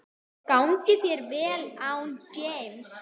Gangi þeim vel án James.